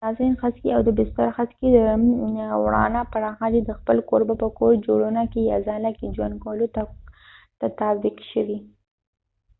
د اساسین خسکې او د بستر خسکې دوانړه پراخه دي د خپل کوربه په کور جوړونه کې یا ځاله کې ژوند کولو تطابق شوي